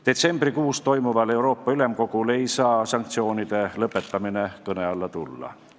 Detsembris toimuval Euroopa Ülemkogul ei saa sanktsioonide lõpetamine kõne alla tulla.